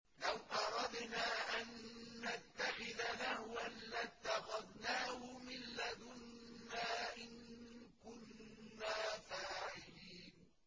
لَوْ أَرَدْنَا أَن نَّتَّخِذَ لَهْوًا لَّاتَّخَذْنَاهُ مِن لَّدُنَّا إِن كُنَّا فَاعِلِينَ